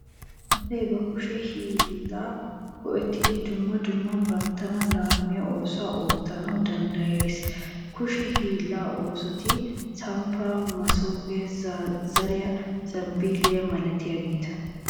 Asay ba kushe hiillaa go'ettidi dumma dumma banttana laammiya oosuwa oottanawu danddayees. Kushe hiillaa oosoti samppaa, masoofiya, zazzariya, zambbilliyanne malatiyageeta.